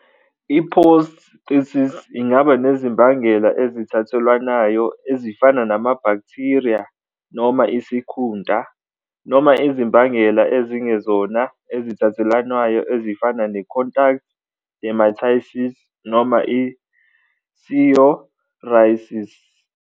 I-Posthitis ingaba nezimbangela ezithathelwanayo ezifana nama-bacteria noma isikhunta, noma izimbangela ezingezona ezithathelwanayo ezifana ne- contact dermatitis noma i- psoriasis.